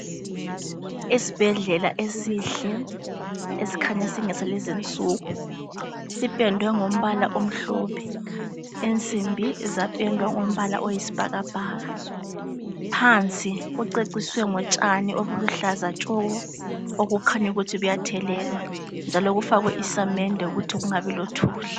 Isibhedlela esihle esikhanya singesalezi insuku. Sipendwe ngombala omhlophe. Insimbi zapendwa ngombala oyisibhakabhaka. Phansi kuceciswe ngotshani obuluhlaza tshoko okukhanya ukuthi kuyathelelwa njalo kufakwe isamende ukuthi kungabi lothuli.